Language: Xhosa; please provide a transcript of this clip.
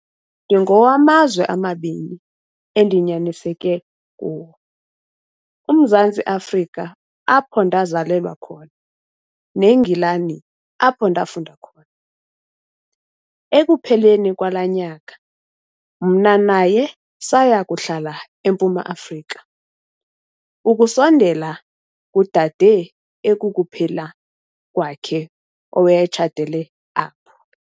"Ndingowamazwe amabini endinyaniseke kuwo- UMzantsi Afrika apho ndazalelwa khona neNgilani apho ndafunda khona. Ekupheleni kwala nyaka, mna naye saya kuhlala eMpuma Afrika, ukusondela kudade ekukuphela kwakhe owayetshatele apho.